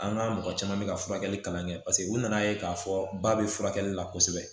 An ka mɔgɔ caman bɛ ka furakɛli kalan kɛ paseke u nana ye k'a fɔ ba bɛ furakɛli la kosɛbɛ